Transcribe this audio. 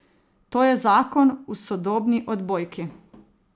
To je zakon v sodobni odbojki.